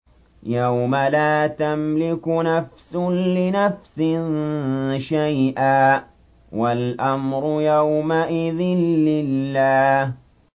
يَوْمَ لَا تَمْلِكُ نَفْسٌ لِّنَفْسٍ شَيْئًا ۖ وَالْأَمْرُ يَوْمَئِذٍ لِّلَّهِ